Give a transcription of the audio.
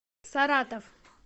саратов